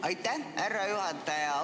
Aitäh, härra juhataja!